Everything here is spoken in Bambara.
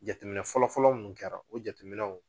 Jateminɛ fɔlɔfɔlɔ munnu kɛra o jateminɛw.